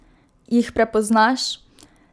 Jih prepoznaš?